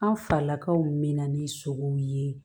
An falakaw mɛna ni sogow ye